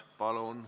Palun!